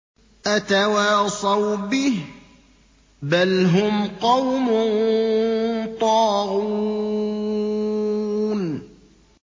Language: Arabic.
أَتَوَاصَوْا بِهِ ۚ بَلْ هُمْ قَوْمٌ طَاغُونَ